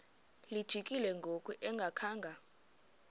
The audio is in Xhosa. lijikile ngoku engakhanga